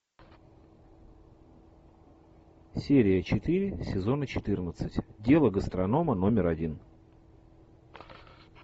серия четыре сезона четырнадцать дело гастронома номер один